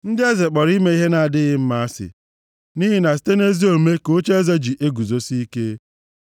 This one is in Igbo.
Ndị eze kpọrọ ime ihe na-adịghị mma asị, nʼihi na site nʼezi omume ka ocheeze ji eguzosi ike.